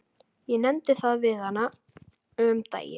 Ég nefndi það við hana um daginn.